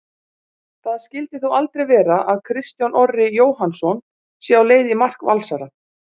Það skyldi þó aldrei vera að Kristján Orri Jóhannsson sé á leið í mark Valsara??